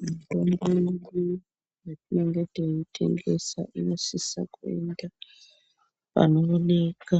Mitombo yedu yetinenge teitengesa inosisa kuinda panooneka